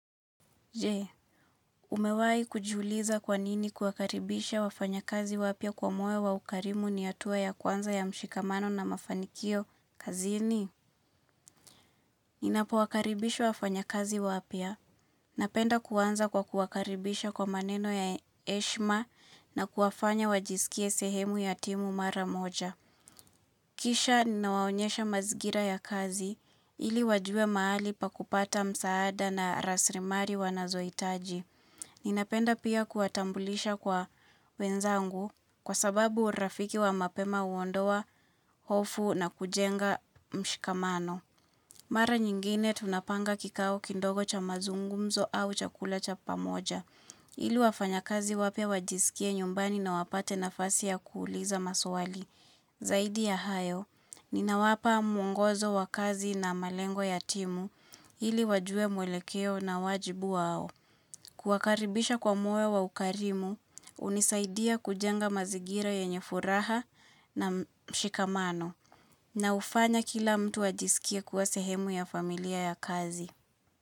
Je, umewai kujuliza kwanini kuwakaribisha wafanya kazi wapia kwa moyo wa ukarimu ni hatua ya kwanza ya mshikamano na mafanikio kazini? Ninapo wakaribisha wafanya kazi wapia. Napenda kuwanza kwa kuakaribisha kwa maneno ya eshma na kuafanya wajisikie sehemu ya timu mara moja. Kisha ninawaonyesha mazingira ya kazi ili wajue maali pakupata msaada na rasrimari wanazoitaji. Ninapenda pia kuatambulisha kwa wenzangu kwa sababu urafiki wa mapema uondowa, hofu na kujenga mshikamano. Mara nyingine tunapanga kikao kindogo cha mazungumzo au chakula cha pamoja. Hili wafanya kazi wapia wajisikie nyumbani na wapate nafasi ya kuuliza maswali. Zaidi ya hayo, ninawapa mungozo wakazi na malengo ya timu hili wajue mwelekeo na wajibu wao. Kuwakaribisha kwa moyo wa ukarimu, hunisaidia kujenga mazingira yenyefuraha na mshikamano na ufanya kila mtu ajisikia kuwa sehemu ya familia ya kazi.